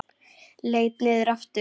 Leit niður aftur.